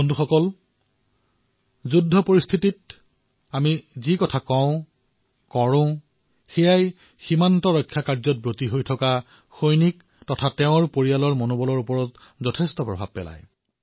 বন্ধুসকল যুদ্ধৰ পৰিস্থিতিত আমি যি কথা কও সিয়ে সীমাত ৰৈ থকা সৈনিকৰ মনোবলত তেওঁলোকৰ পৰিয়ালৰ মনোবলত যথেষ্ট প্ৰভাৱ পেলায়